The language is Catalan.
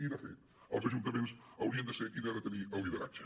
i de fet els ajuntaments haurien de ser qui haurien de tenir ne el lideratge